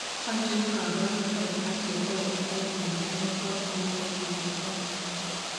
Achon kaborunoik ak chetogu eng' multifocal motor neuropathy